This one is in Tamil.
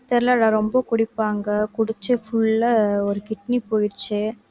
தெரியலடா ரொம்ப குடிப்பாங்க குடிச்சு full ஆ ஒரு kidney போயிடுச்சு